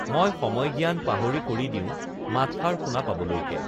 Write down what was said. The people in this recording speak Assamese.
মই সময়জ্ঞান পাহৰি কৰি দিওঁ মাতষাৰ শুনা পাবলৈকে